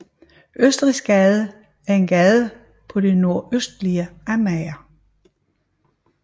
Østrigsgade er en gade på det nordøstlige Amager